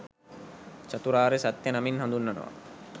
චතුරාර්ය සත්‍ය නමින් හඳුන්වනවා.